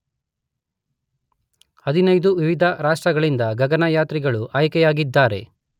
15 ವಿವಿಧ ರಾಷ್ಟ್ರಗಳಿಂದ ಗಗನಯಾತ್ರಿಗಳು ಆಯ್ಕೆಯಾಗಿದ್ದಾರೆ